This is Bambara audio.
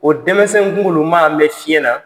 O denmisɛn kunkoloma n be fiye na